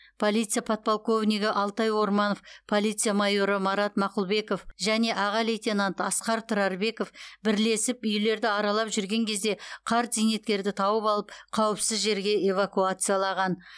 полиция подполковнигі алтай орманов полиция майоры марат мақұлбеков және аға лейтенант асқар тұрарбеков бірлесіп үйлерді аралап жүрген кезде қарт зейнеткерді тауып алып қауіпсіз жерге эвакуациялаған